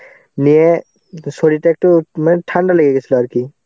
নিয়ে তো শরীরটা একটু মান~ ঠান্ডা লেগে গেছিলো আর কি.